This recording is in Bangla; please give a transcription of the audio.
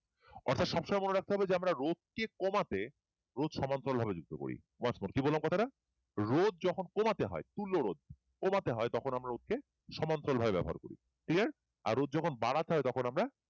অর্থাৎ সবসময় মনে রাখতে হবে যে রোধ কে কম আছে রোধ সমান্তরাল ভাবে যুক্ত আছে once more কি বললাম কথাটা রোধ যখন কমাতে হয় তুল্য রোধ কমাতে হয় তখন আমরা রোধকে সমান্তরাল ভাবে ব্যবহার করি clear আর রোধ যখন বাড়াতে হয় তখন আমরা